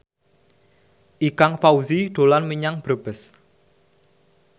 Ikang Fawzi dolan menyang Brebes